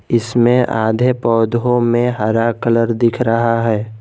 इसमें आधे पौधों में हरा कलर दिख रहा है।